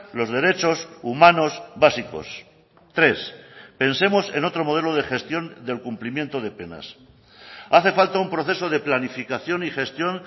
los derechos humanos básicos tres pensemos en otro modelo de gestión del cumplimiento de penas hace falta un proceso de planificación y gestión